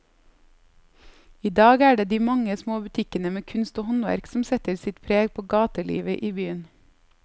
I dag er det de mange små butikkene med kunst og håndverk som setter sitt preg på gatelivet i byen.